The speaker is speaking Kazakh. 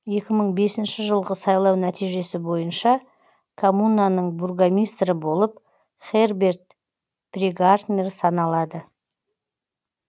екі мың бесінші жылғы сайлау нәтижесі бойынша коммунаның бургомистрі болып херберт прегартнер саналады